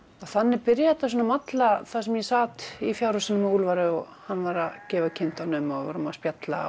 þannig byrjaði þetta svona að malla þar sem ég sat í fjárhúsinu með Úlfari og hann var að gefa kindunum og við vorum að spjalla